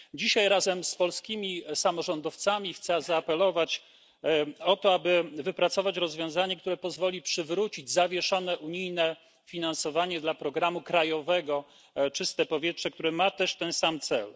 Dzisiaj razem z polskimi samorządowcami chcę zaapelować o to, aby wypracować rozwiązanie, które pozwoli przywrócić zawieszone unijne finansowanie dla programu krajowego Czyste powietrze, który ma też ten sam cel.